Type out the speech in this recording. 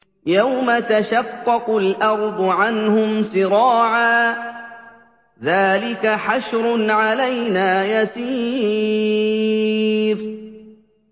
يَوْمَ تَشَقَّقُ الْأَرْضُ عَنْهُمْ سِرَاعًا ۚ ذَٰلِكَ حَشْرٌ عَلَيْنَا يَسِيرٌ